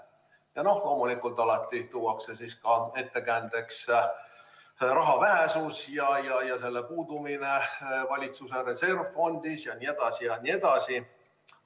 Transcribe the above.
Ja loomulikult alati tuuakse ettekäändeks raha vähesus ja selle puudumine valitsuse reservfondis jne, jne.